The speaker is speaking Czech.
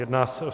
Jedná se o: